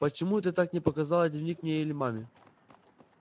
почему ты так не показала дневник мне или маме